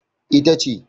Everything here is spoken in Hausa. E, ita ce.